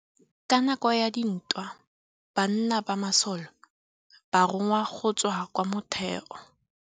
Ka nakô ya dintwa banna ba masole ba rongwa go tswa kwa mothêô.